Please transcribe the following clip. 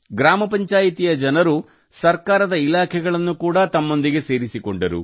ಗ್ರಾಮ ಪಂಚಾಯಿತಿಯ ಜನರು ಸರ್ಕಾರದ ಇಲಾಖೆಗಳನ್ನು ಕೂಡಾ ತಮ್ಮೊಂದಿಗೆ ಸೇರಿಸಿಕೊಂಡರು